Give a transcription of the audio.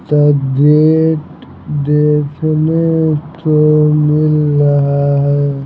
तब डेट देखने को मिल रहा है।